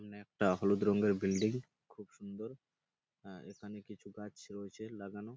কোনো একটা হলুদ রঙের বিলডিং খুব সুন্দর আ এখানে কিছু গাছ রয়েছে লাগানো।